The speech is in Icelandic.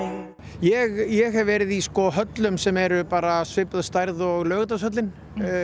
ég hef verið í sko höllum sem eru bara svipuð stærð og Laugardalshöllin